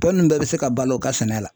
Tɔ ninnu bɛɛ bɛ se ka balo u ka sɛnɛ la .